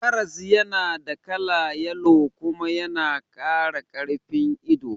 Karas yana da kala yalo kuma yana kara karfin ido